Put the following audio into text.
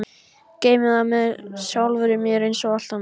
Geymi það með sjálfri mér einsog allt annað.